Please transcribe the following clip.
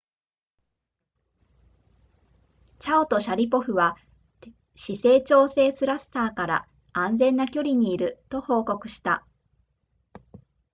チャオとシャリポフは姿勢調整スラスターから安全な距離にいると報告した